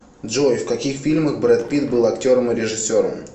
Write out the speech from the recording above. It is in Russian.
джой в каких фильмах брэд питт был актером и режиссером